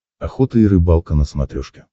охота и рыбалка на смотрешке